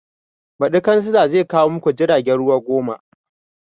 Baɗi kansila zai kawo maku jiragen ruwa goma